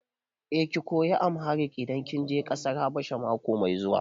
Eh, ki koyi Amharic idan kin je ƙasar Habasha mako mai zuwa.